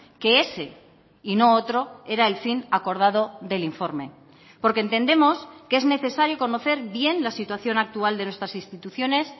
que ese y no otro era el fin acordado del informe porque entendemos que es necesario conocer bien la situación actual de nuestras instituciones